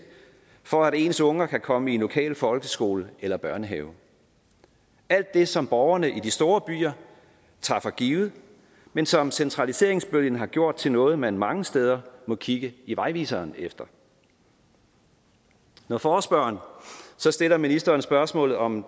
for at ens unger kan komme i den lokale folkeskole eller børnehave alt det som borgerne i de store byer tager for givet men som centraliseringsbølgen har gjort til noget man mange steder må kigge i vejviseren efter når forespørgeren så stiller ministeren spørgsmålet om